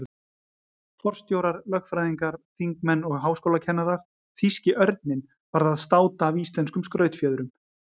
Forstjórar, lögfræðingar, þingmenn og háskólakennarar- þýski örninn varð að státa af íslenskum skrautfjöðrum.